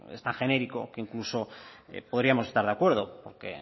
es tan genérico que incluso podríamos estar de acuerdo porque